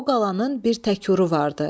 O qalanın bir təkuru vardı.